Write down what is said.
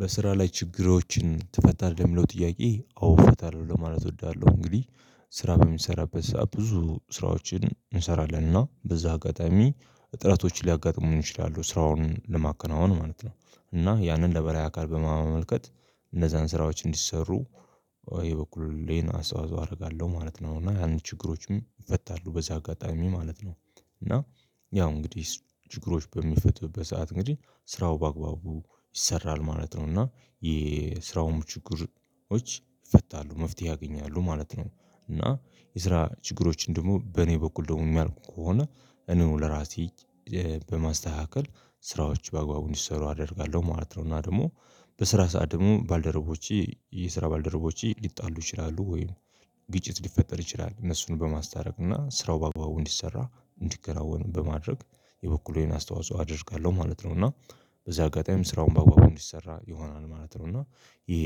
በስራ ላይ ችግሮችን ትፈታለህ? የሚለው ጥያቄ አዎ ፈታለሁ ለማለት እወዳለሁ እንግዲህ ስራ በሚሰራበት ሰዓት ብዙ ስራዎችን እንሰራለንና በዛ አጋጣሚ እጥረቶችን ሊያጋጥሙን ይችላሉ ስራውን ለማከናወን ማለት ነው እና ያንን ለበላይ አካል በማመልከት እንደዛን ስራዎች እንዲሰሩ በኔ በኩል ይሄን አስተዋጽኦ አደርጋለሁ ማለት ነው እና ያን ችግሮችም ይፈታሉ በዚህ አጋጣሚ ማለት ነው እና ያው እንግዲህ ችግሮች በሚፈቱበት ሰዓት እንግዲህ ስራው በአግባቡ ይሰራል ማለት ነው እና የስራውም ችግሮች ይፈታሉ መፍትሄ ያገኛሉ ማለት ነው እና የስራ ችግሮችን ደግሞ በኔ በኩል ደግሞ የሚያልቁ ከሆነ እኔው ለራሴ በማስተካከል ስራዎች በአግባቡ እንዲሰሩ አደርጋለሁ ማለት ነው እና ደግሞ በስራ ሰዓት ደግሞ ባልደረቦቼ የስራ ባልደረቦቼ ሊጣሉ ይችላሉ ወይ ግጭት ሊፈጠር ይችላል እነሱን በማስታረቅ እና ስራው በግባቡ እንዲሰራ እንዲከናወን በማድረግ የበኩሌን አስተዋጽኦ አደርጋለሁ ማለት ነው እና በዚህ አጋጣሚ ስራውን በአግባቡ እንዲሰራ ይሆናል ማለት ነው እና ይሄ